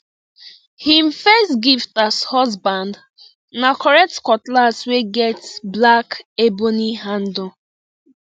him first gift as husband na correct cutlass wey get black ebony handle